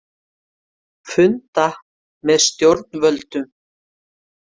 Funda með stjórnvöldum